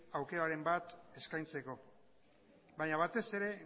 aukeraren bat eskaintzeko baina batez ere